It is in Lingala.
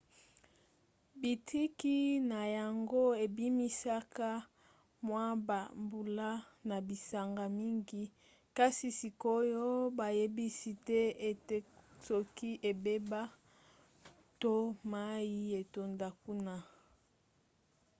bitiki na yango ebimisaka mwa bambula na bisanga mingi kasi sikoyo bayebisi te ete soki ebeba to mai etonda kuna